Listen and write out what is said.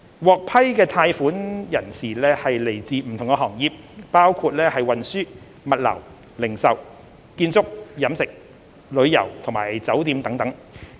獲批貸款的人士來自不同行業，包括運輸、物流、零售、建築、飲食、旅遊及酒店等。